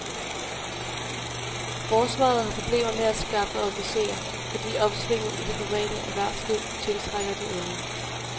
Forsvaret har problemer med at skaffe officerer, fordi opsvinget i det private erhvervsliv tiltrækker de unge.